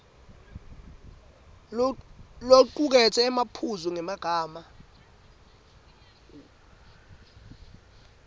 locuketse emaphuzu ngemagama